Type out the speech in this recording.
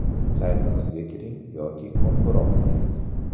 Saytimizga kiring yoki qo‘ng‘iroq qiling.